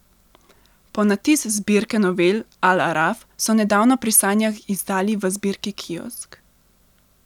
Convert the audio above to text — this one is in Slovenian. Ponatis zbirke novel Al Araf so nedavno pri Sanjah izdali v zbirki Kiosk.